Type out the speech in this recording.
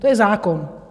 To je zákon.